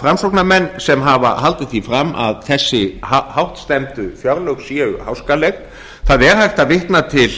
framsóknarmenn sem hafa haldið því fram að þessi hástemmdu fjárlög séu háskaleg það er hægt að vitna til